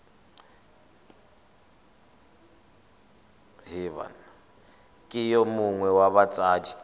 ke yo mongwe wa batsadi